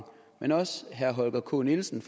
men også herre holger k nielsen